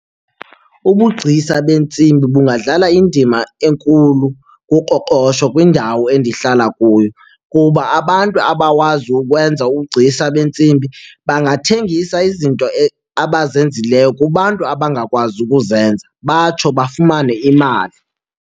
Ubugcisa beentsimbi bungadlala indima enkulu kuqoqosho kwindawo endihlala kuyo kuba abantu abawazi ukwenza ubugcisa beentsimbi bangathengisa izinto abazenzileyo kubantu abangakwazi ukuzenza batsho bafumane imali.